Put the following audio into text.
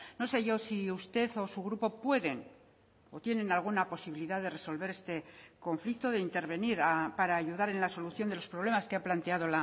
no sé yo si usted o su grupo pueden o tienen alguna posibilidad de resolver este conflicto de intervenir para ayudar en la solución de los problemas que ha planteado